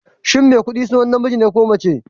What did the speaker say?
Shin Maikuɗi sunan namiji ne ko mace?